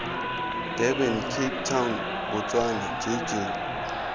durban cape town botswana jj